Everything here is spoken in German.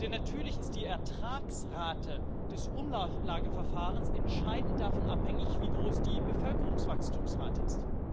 Denn natürlich ist die Ertragsrate des Umlageverfahrens entscheidend davon abhängig, wie groß die Bevölkerungswachstumsrate ist.